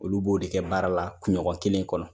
Olu b'o de kɛ baara la kunɲɔgɔn kelen kɔnɔ.